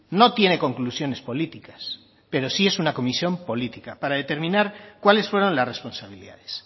no tiene conclusiones políticas pero sí es una comisión política para determinar cuáles fueron las responsabilidades